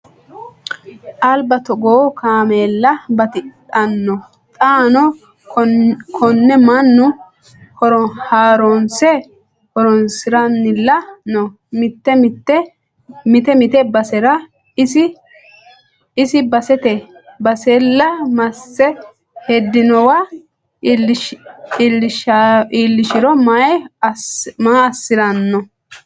Alba togoo kaameella batidhano xaano kone mannu haaronse horonsirannilla no mite mite basera isi basete basella masse hedinowa iillishisiro maa assirano.